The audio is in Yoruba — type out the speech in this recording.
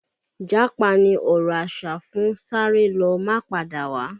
Japa ni ọ̀rọ̀ asa fún sáré lọ má padà wá